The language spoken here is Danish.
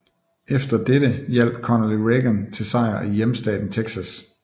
Efter dette hjalp Connally Reagan til sejr i hjemmestaten Texas